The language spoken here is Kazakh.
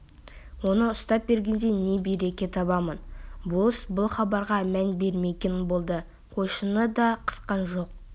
оны ұстап бергенде не береке табамын болыс бұл хабарға мән бермеген болды қойшыны да қысқан жоқ